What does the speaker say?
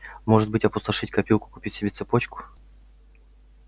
может быть опустошить копилку купить себе цепочку